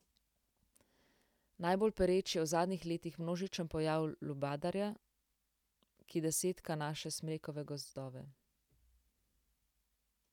Najbolj pereč je v zadnjih letih množičen pojav lubadarja, ki desetka naše smrekove gozdove.